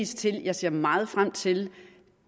til jeg ser meget frem til